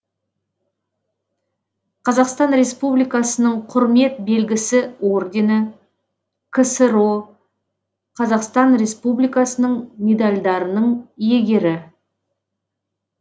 қазақстан республикасының құрмет белгісі ордені ксро қазақстан республикасының медальдарының иегері